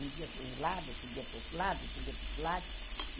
Um dia para um lado, outro dia para o outro lado, outro dia para o outro lado.